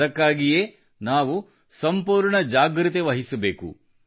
ಅದಕ್ಕಾಗಿಯೇ ನಾವು ಸಂಪೂರ್ಣ ಜಾಗೃತೆವಹಿಸಬೇಕು